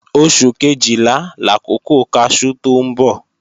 Oṣù Kejìlá làkókò kaṣú tó ń bọ̀